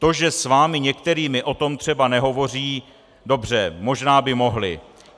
To, že s vámi některými o tom třeba nehovoří, dobře, možná by mohli.